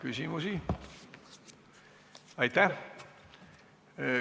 Ei ole.